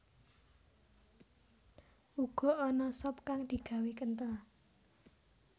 Uga ana sop kang digawé kenthel